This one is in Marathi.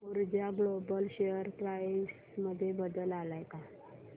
ऊर्जा ग्लोबल शेअर प्राइस मध्ये बदल आलाय का